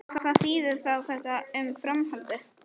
Kristján Már Unnarsson: Hvað þýðir þá þetta um framhaldið?